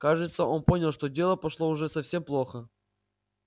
кажется он понял что дело пошло уже совсем плохо